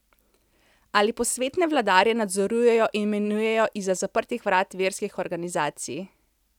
Ali posvetne vladarje nadzorujejo in imenujejo izza zaprtih vrat verskih organizacij?